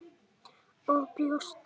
Og brjóst.